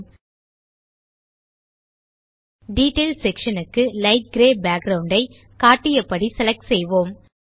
ல்ட்பாசெக்ட் detail section க்கு light grey background ஐ காட்டியபடி செலக்ட் செய்வோம்